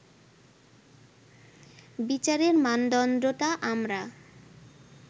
বিচারের মানদণ্ডটা আমরা